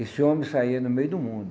Esse homem saía no meio do mundo.